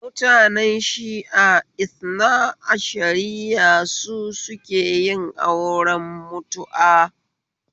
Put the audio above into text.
Mutanen shia Ithna ashariya su sukeyin auren mutu'a